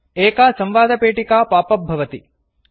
एका संवादपेटिका पापप् भवति